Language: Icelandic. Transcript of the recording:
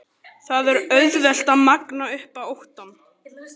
Það er auðvelt að magna upp óttann.